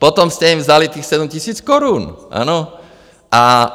Potom jste jim vzali těch sedm tisíc korun, ano?